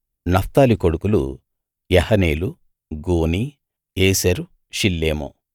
Naphtali కొడుకులు యహనేలు గూనీ యేసెరు షిల్లేము